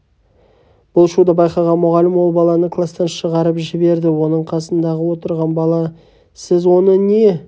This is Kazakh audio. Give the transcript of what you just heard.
бұл шуды байқаған мұғалім ол баланы класстан шығарып жіберді оның қасындағы отырған бала сіз оны не